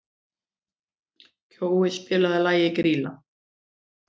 Kjói, spilaðu lagið „Grýla“.